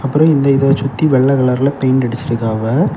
அப்புறம் இந்த இத சுத்தி வெள்ள கலர்ல பெயிண்ட் அடிச்சுருக்காவ.